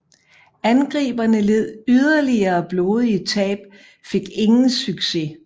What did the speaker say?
Angriberne led yderligere blodige tab fik ingen succes